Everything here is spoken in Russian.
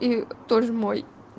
и тоже мой